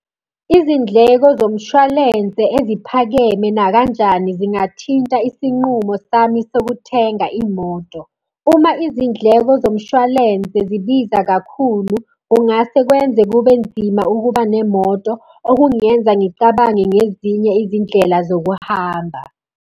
Izindleko zomshwalense eziphakeme nakanjani zingathinta isinqumo sami sokuthenga imoto. Uma izindleko zomshwalense zibiza kakhulu, kungase kwenze kube nzima ukuba nemoto, okungenza ngicabange ngezinye izindlela zokuhamba.